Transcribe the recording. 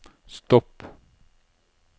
stopp